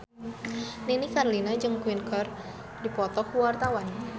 Nini Carlina jeung Queen keur dipoto ku wartawan